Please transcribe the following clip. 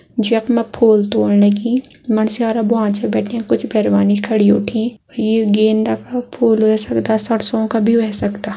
ज्यक मा फूल तोड़ने की मणस्यारा भुआं च बैठ्यां कुछ पेरवानी खड़ी उठीं। यू गेंदा का फूल ह्वे सकदा सरसों का भी ह्वे सकदा।